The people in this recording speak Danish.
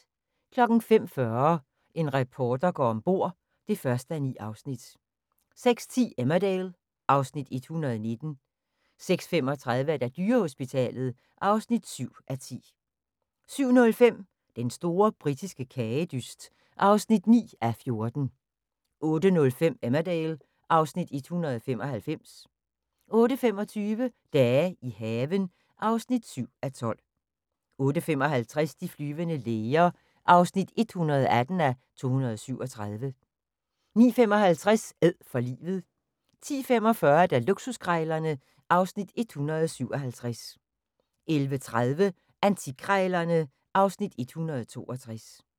05:40: En reporter går om bord (1:9) 06:10: Emmerdale (Afs. 119) 06:35: Dyrehospitalet (7:10) 07:05: Den store britiske kagedyst (9:14) 08:05: Emmerdale (Afs. 195) 08:25: Dage i haven (7:12) 08:55: De flyvende læger (118:237) 09:55: Æd for livet 10:45: Luksuskrejlerne (Afs. 157) 11:30: Antikkrejlerne (Afs. 162)